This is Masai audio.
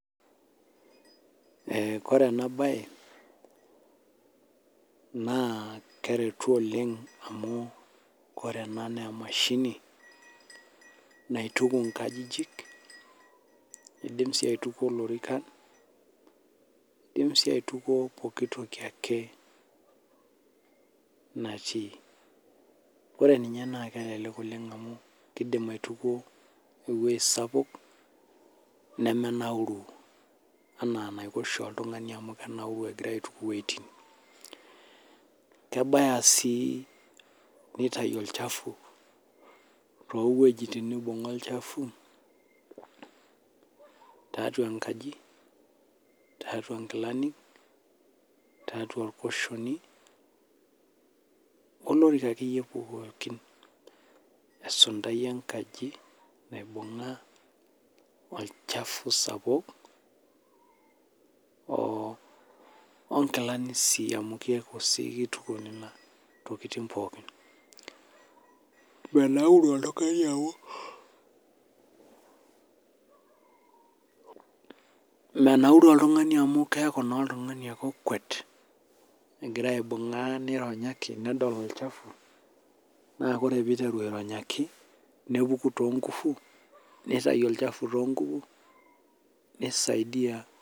Koree ena bae naa keretu oleng' amu ore ena naa emashini naituku inkajijik nidim sii aitukuo ilorikan nidim sii aitukuo pooki toki ake naati. Ore ninye naa kelelek oleng' amu kidim aitukuo eweji sapuk nemenauru ena enaiko oshi oltung'ani amu kenauru egira aituku iwejiti. Kebaya sii nitayu ol chafu too wejitin nibung'a ol chafu tiatua enkaji tiatua inkilani tiatua irkushoni olarika akeyie pookin . Esuntai enkaji naibung'a ol chafu sapuk oo nkilani sii amu keeku sii kituku intokitin pookin. Menauru oltung'ani amu pause menauru oltung'ani amu keeku naa oltung'ani ake okuet egira aironyakj nedol ol chafu naa kore outeru airenyaki nepuku too ngufu neitayu ol chafu too ngufu nii saidia.